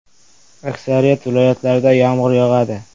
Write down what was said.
Aksariyat viloyatlarda yomg‘ir yog‘adi.